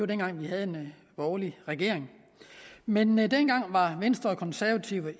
dengang hvor vi havde en borgerlig regering men men dengang var venstre og konservative